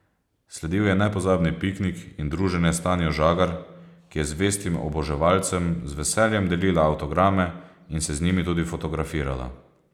Sledil je nepozabni piknik in druženje s Tanjo Žagar, ki je zvestim oboževalcem z veseljem delila avtograme in se z njimi tudi fotografirala.